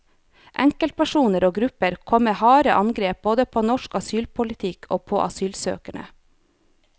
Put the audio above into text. Enkeltpersoner og grupper kom med harde angrep både på norsk asylpolitikk og på asylsøkerne.